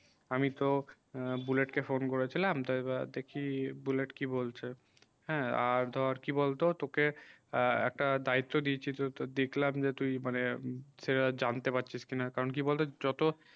আমি তো bullet কে phone করে ছিলাম তাই বা দেখি bullet কি বলছে হ্যাঁ আর ধর কি বল তো তোকে একটা দায়িত্ব দিয়েছি তো দেখলাম যে তুই মানে সেটা জানতে পারছিস কি না কারণ কি বল তো যত